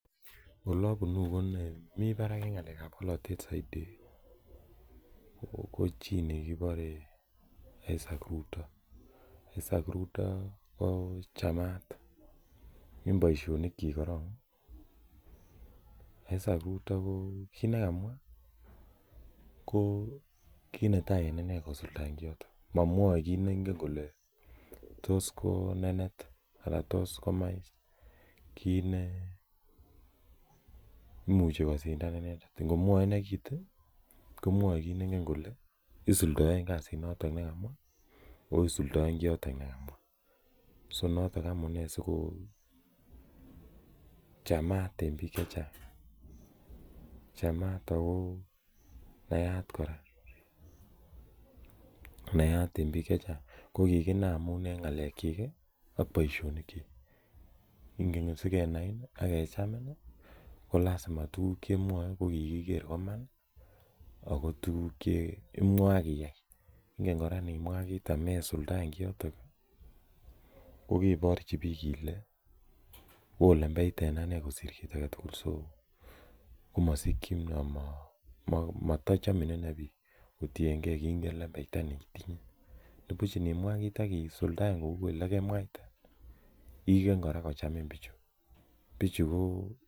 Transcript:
Ole a punu ko mi parak en ng'alek ap polotet saidi ko chi ne kipare Isaac Ruto. Isaac Ruto ko chamat en poishonik chiil koron. Isaac Ruto ko kiit ne kamwa ko kii netai en ine kosuldaen kiotok. Mamwaen kiit ne ingen kole tos ko nenet anan tos komach kiit ne imuchi kosindan inendet. Ngomwae ine kiit komwae kiit ne ingen kole isudaen kasit notok ne kamwa anan kosuldaen kiit notok ne kamwa. So, notok amune asikochamat en piik che chang' . Chamat ako naat kora. Naat en piik che chang'. Ko kikinai amun en ng'alekchik ak poishonik chiik. Ingonyo sikenai ak kechamin ko lasima tuguuk che imwae ko kikiker kele iman ako tuguk che imwae ak iyai. Inget kora ngimwa kiit amesuldaen kiotok ko keparchi piik ile oo lembechta en ane kosir kiit age tugul komasikchin ama tachamin ine piik kotiny gei kiingen lembechta neitinye. Nepuch inimwa kiit ak isuldaen kou ole kenwaite igen kora kochamin pichu .